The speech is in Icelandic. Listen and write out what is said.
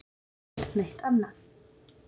Aldrei gert neitt annað.